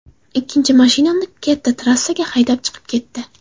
Ikkinchi mashinamni katta trassaga haydab chiqib ketdi.